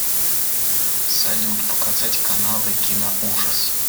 салют показать каналы киноужас